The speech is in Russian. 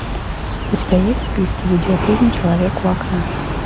у тебя есть в списке видеофильм человек у окна